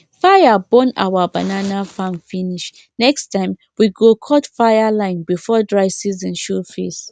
fire burn our banana farm finish next time we go cut fireline before dry season show face